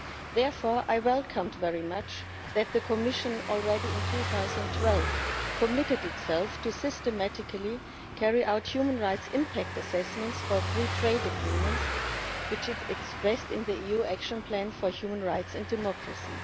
Therefore, I welcomed very much that the Commission already in 2012 committed itself to systematically carrying out human rights impact assessments for free trade agreements, which it expressed in the EU Action Plan for Human Rights and Democracy.